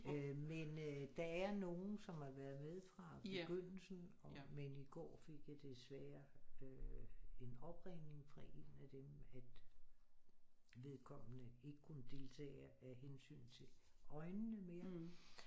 Men øh der er nogle som har været med fra begyndelsen og men i går fik jeg desværre øh en opringning fra en af dem at vedkommende ikke kunne deltage af hensyn til øjnene mere